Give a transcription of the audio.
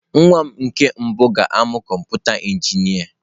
Nwa m nwoke ga-amụ kọmpụta injinia.